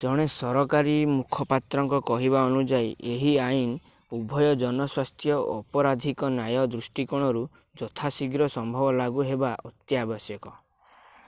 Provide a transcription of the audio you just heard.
ଜଣେ ସରକାରୀ ମୁଖପାତ୍ରଙ୍କ କହିବା ଅନୁଯାୟୀ ଏହି ଆଇନ ଉଭୟ ଜନସ୍ୱାସ୍ଥ୍ୟ ଓ ଅପରାଧିକ ନ୍ୟାୟ ଦୃଷ୍ଟିକୋଣରୁ ଯଥାଶୀଘ୍ର ସମ୍ଭବ ଲାଗୁ ହେବା ଅତ୍ୟାବଶ୍ୟକ